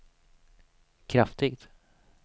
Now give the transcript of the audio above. kraftigt